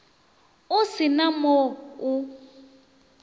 o se na mo o